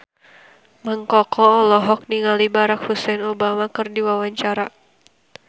Mang Koko olohok ningali Barack Hussein Obama keur diwawancara